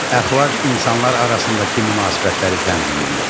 Əxlaq insanlar arasındakı münasibətləri tənzimləyir.